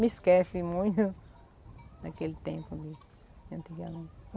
Me esquece muito daquele tempo de antigamente.